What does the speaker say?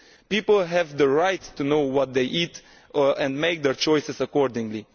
People have the right to know what they eat and make their choices accordingly.